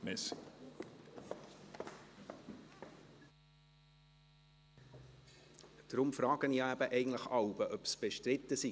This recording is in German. Deswegen frage ich eben eigentlich jeweils, ob es bestritten ist;